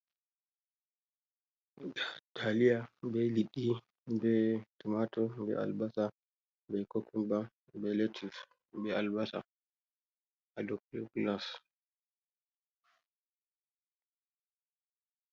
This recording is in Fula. Taliya be liɗɗi be tomatur be albasa be kokumba be letus be albasa ha dou gilas.